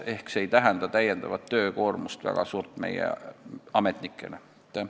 Ehk see ei tähenda meie ametnikele väga suurt töökoormust.